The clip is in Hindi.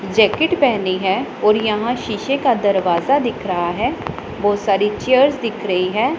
जैकेट पहनी है और यहां शीशे का दरवाजा दिख रहा है। बहोत सारी चेयर्स दिख रही है।